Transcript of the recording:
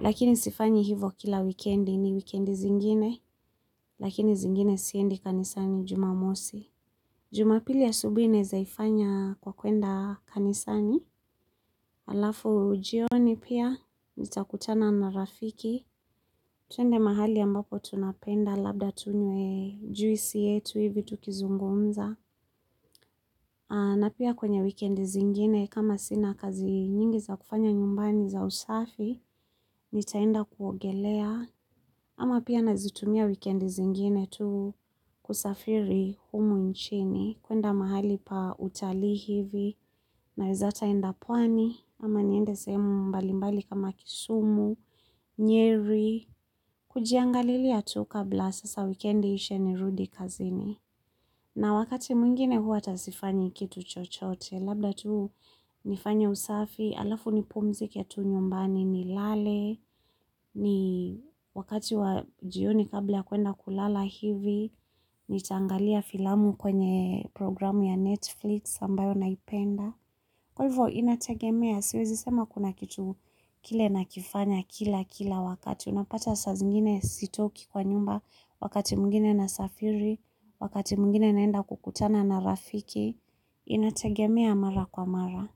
Lakini sifanyi hivo kila wikendi ni wikendi zingine, lakini zingine siendi kanisani jumamosi. Jumapili asubui nezaifanya kwa kuenda kanisani, alafu jioni pia nitakutana na rafiki, tuende mahali ambapo tunapenda labda tunywe juisi yetu hivi tukizungumza. Na pia kwenye wikendi zingine kama sina kazi nyingi za kufanya nyumbani za usafi, nitaenda kuogelea, ama pia nazitumia wikendi zingine tu kusafiri humu nchini, kuenda mahali pa utalii hivi, naweza tainda pwani, ama niende sehemu mbali mbali kama kisumu, nyeri, kujiangalilia tu kabla sasa weekendi iishe ni rudi kazini. Na wakati mwingine hua ata sifanyi kitu chochote, labda tu nifanye usafi, alafu nipumzike tu nyumbani, ni lale, ni wakati wa jioni kabla kuenda kulala hivi, nitaangalia filamu kwenye programu ya Netflix ambayo naipenda. Kwa hivo inategemea siezi sema kuna kitu kile nakifanya kila kila wakati unapata sazingine sitoki kwa nyumba wakati mwingine nasafiri wakati mwingine naenda kukutana na rafiki inategemea mara kwa mara.